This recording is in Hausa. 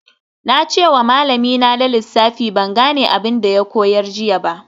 Na ce wa malamina na lissafi ban gane abin da ya koyar jiya ba